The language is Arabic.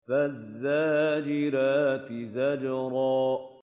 فَالزَّاجِرَاتِ زَجْرًا